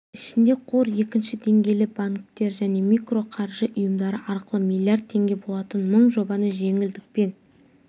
ішінде қор екінші деңгейлі банктер және микроқаржы ұйымдары арқылы миллиард теңге болатын мың жобаны жеңілдікпен